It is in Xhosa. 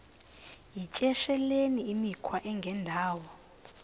yityesheleni imikhwa engendawo